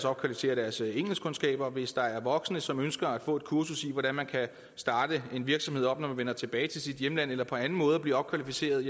opkvalificere deres engelskkundskaber og hvis der er voksne som ønsker at få et kursus i hvordan man kan starte en virksomhed op når man vender tilbage til sit hjemland eller på anden måde at blive opkvalificeret